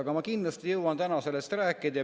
Aga ma kindlasti jõuan täna sellest rääkida.